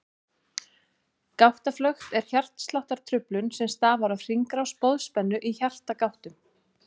Gáttaflökt er hjartsláttartruflun sem stafar af hringrás boðspennu í hjartagáttum.